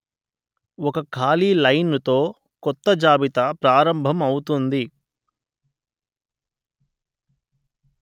ఒక ఖాళీ లైను తో కొత్త జాబితా ప్రారంభం అవుతుంది